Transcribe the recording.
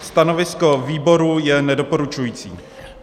Stanovisko výboru je nedoporučující.